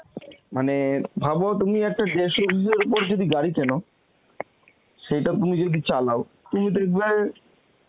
মানে ভাব তুমি একটা দেড়শ CC র ওপর যদি গাড়ি কেন, সেইটা তুমি যদি চালাও, তুমি দেখবে